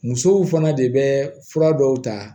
Musow fana de bɛ fura dɔw ta